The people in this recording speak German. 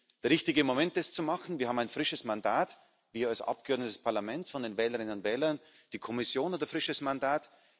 Es ist der richtige Moment, das zu machen Wir haben ein frisches Mandat wir als Abgeordnete des Parlaments von den Wählerinnen und Wählern, die Kommission hat ein frisches Mandat.